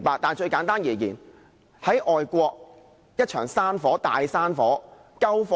但最簡單的解釋是，在外國一場大山火，怎樣救火呢？